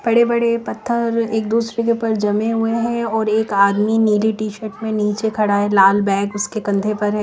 बड़े-बड़े पत्थर एक दूसरे के ऊपर जमे हुए हैं और एक आदमी नीली टी-शर्ट में नीचे खड़ा है लाल बैग उसके कंधे पर है।